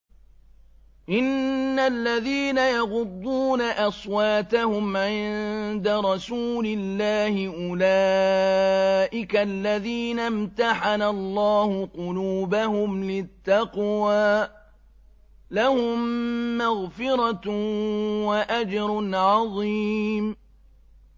إِنَّ الَّذِينَ يَغُضُّونَ أَصْوَاتَهُمْ عِندَ رَسُولِ اللَّهِ أُولَٰئِكَ الَّذِينَ امْتَحَنَ اللَّهُ قُلُوبَهُمْ لِلتَّقْوَىٰ ۚ لَهُم مَّغْفِرَةٌ وَأَجْرٌ عَظِيمٌ